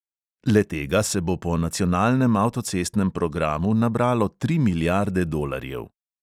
Le-tega se bo po nacionalnem avtocestnem programu nabralo tri milijarde dolarjev.